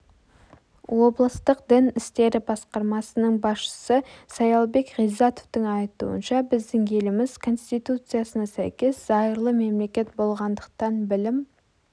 облыстық дін істері басқармасының басшысы саялбек ғиззатовтың айтуынша біздің еліміз конституциясына сәйкес зайырлы мемлекет болғандықтан білім